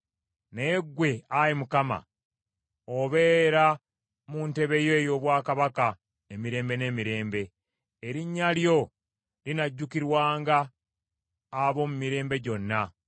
Naye ggwe, Ayi Mukama , obeera mu ntebe yo ey’obwakabaka emirembe n’emirembe; erinnya lyo linajjukirwanga ab’omu mirembe gyonna.